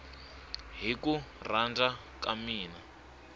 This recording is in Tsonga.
hi ku rhandza ka mina